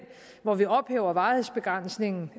hvor vi ophæver varighedsbegrænsningen